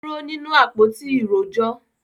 Ó dúró nínú “ àpótí ìrojọ́”.